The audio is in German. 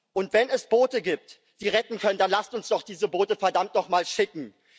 Und wenn es Boote gibt, die retten können, dann lasst uns doch diese Boote verdammt nochmal schicken.